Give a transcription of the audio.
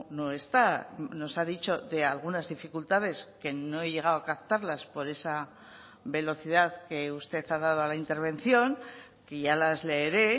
no está nos ha dicho de algunas dificultades que no he llegado a captarlas por esa velocidad que usted ha dado a la intervención que ya las leeré